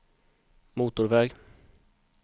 motorväg